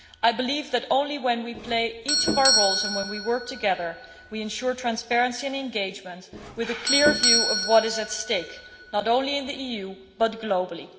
I believe that only when we play each of our roles and when we work together, do we ensure transparency and engagement with a clear view of what is at stake, not only in the EU but globally.